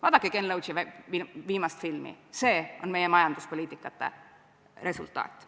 Vaadake Ken Loachi viimast filmi – see on meie majanduspoliitika resultaat.